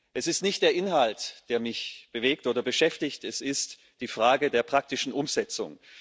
Es ist nicht der Inhalt, der mich bewegt oder beschäftigt, es ist die Frage der praktischen Umsetzung.